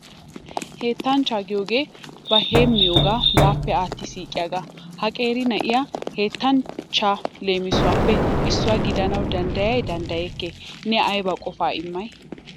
Henttachcha giyoogee ba heemmiyooga baappe aatti siiqiyaaga. Ha qeeri na'iyaa henttanchcha leemisuwappe issuwaa gidanawu danddayay danddayekkee? Ne aybba qofaa immay?